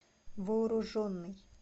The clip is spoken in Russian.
вооруженный